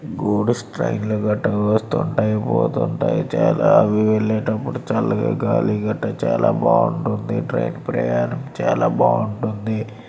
Goods ట్రైన్లు గట వస్తుంటాయి పోతుంటాయి చాలా వెళ్లేటప్పుడు చల్లగా గాలిగటా చాలా బాగుంటుంది ట్రైన్ ప్రయాణం చాలా బాగుంటుంది.